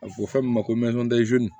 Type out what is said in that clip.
A bɛ fɔ fɛn min ma ko